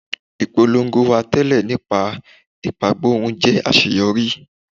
Ipolongo wa tẹlẹ nípa ipagborun jẹ aṣeyọri